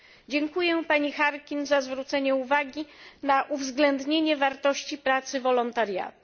Dziękuję pani Harkin za zwrócenie uwagi na uwzględnienie wartości pracy wolontariatu.